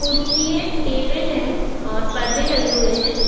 कूर्सी table हैं और परदे लगे हुए हैं।